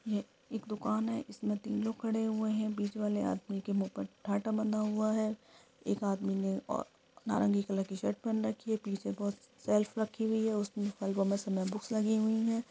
ये एक दुकान है जिसमे तीन लोग खड़े हुए हैं | बीच वाले आदमी के मुँह पर बंधा हुआ है | एक आदमी ने अ नारंगी कलर की शर्ट पहन रखी है बीच में बहुत शेल्फ रखी हुई हैं उसमे बुक्स लगी हुई हैं।